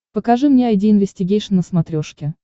покажи мне айди инвестигейшн на смотрешке